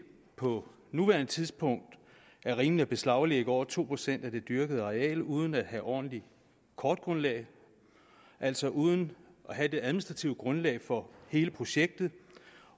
på nuværende tidspunkt er rimeligt at beslaglægge over to procent af det dyrkede areal uden at have ordentligt kortgrundlag altså uden at have det administrative grundlag for hele projektet